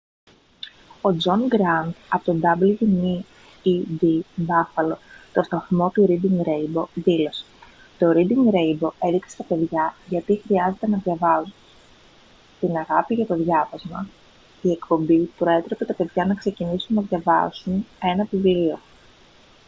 ο τζον γκραντ από το wned buffalo τον σταθμό του reading rainbow δήλωσε: «το reading rainbow έδειξε στα παιδιά γιατί χρειάζεται να διαβάζουν την αγάπη για το διάβασμα - [η εκπομπή] προέτρεπε τα παιδιά να ξεκινήσουν να διαβάζουν ένα βιβλίο»